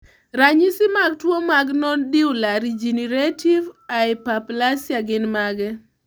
Ranyisi mag tuwo marNodular regenerative hyperplasia gin mage?